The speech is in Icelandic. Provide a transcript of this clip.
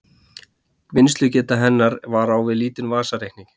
Vinnslugeta hennar var á við lítinn vasareikni.